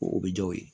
O bɛ ja o ye